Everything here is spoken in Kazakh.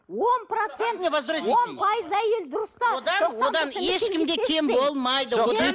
он процент он пайыз әйел дұрыс та одан одан ешкім де кем болмайды одан